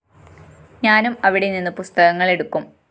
ഞാനും അവിടെ നിന്ന് പുസ്തകങ്ങളെടുക്കും